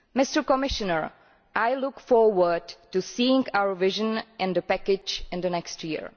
Mr Commissioner, I look forward to seeing our vision and the package in the next year.